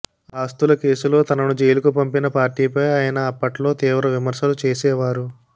ఆస్తుల కేసులో తనను జైలుకు పంపిన పార్టీపై ఆయన అప్పట్లో తీవ్ర విమర్శలు చేసేవారు